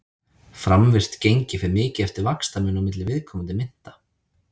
Framvirkt gengi fer mikið eftir vaxtamun á milli viðkomandi mynta.